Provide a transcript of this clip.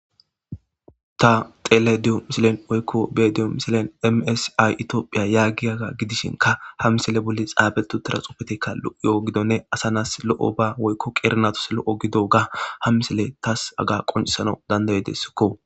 Ta xelediyo misilen woykko bediyo misilen msay itiophiya yaaggi aaga gidishinka ha misele bolli xaabetu teraxufetekka o7yo7o gidonne asanas lo7o ba woykko qeernatos lo7o gido ga ha misele taas aga qoncisano dandayedessikko.